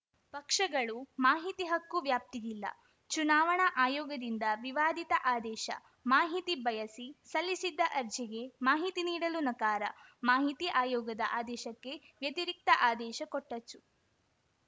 ಪಕ್ಷಗಳು ಮಾಹಿತಿ ಹಕ್ಕು ವ್ಯಾಪ್ತಿಗಿಲ್ಲ ಚುನಾವಣಾ ಆಯೋಗದಿಂದ ವಿವಾದಿತ ಆದೇಶ ಮಾಹಿತಿ ಬಯಸಿ ಸಲ್ಲಿಸಿದ್ದ ಅರ್ಜಿಗೆ ಮಾಹಿತಿ ನೀಡಲು ನಕಾರ ಮಾಹಿತಿ ಆಯೋಗದ ಆದೇಶಕ್ಕೆ ವ್ಯತಿರಿಕ್ತ ಆದೇಶ ಕೊಟ್ಟಚು